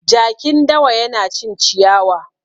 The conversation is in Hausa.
Jakin dawa yana cin ciyawa.